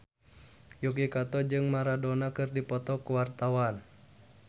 Yuki Kato jeung Maradona keur dipoto ku wartawan